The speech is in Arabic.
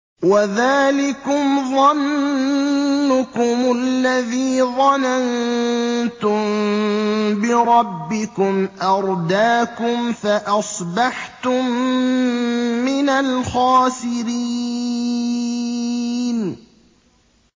وَذَٰلِكُمْ ظَنُّكُمُ الَّذِي ظَنَنتُم بِرَبِّكُمْ أَرْدَاكُمْ فَأَصْبَحْتُم مِّنَ الْخَاسِرِينَ